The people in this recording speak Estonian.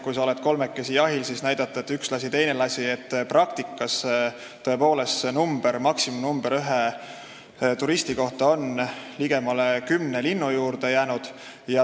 Kui ollakse kolmekesi jahil, siis saab näidata, et üks lasi ja teine lasi, nii et praktikas tõepoolest see maksimumnumber ühe turisti kohta jääb kümne linnu juurde.